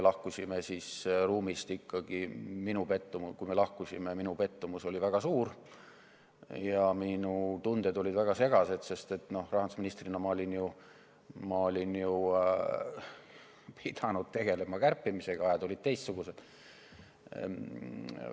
Lahkusime ruumist ikkagi nii, et minu pettumus oli väga suur ja mu tunded olid väga segased, sest rahandusministrina olin pidanud ju tegelema kärpimisega, ajad olid teistsugused.